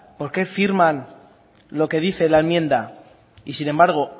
por qué firman lo que dice la enmienda y sin embargo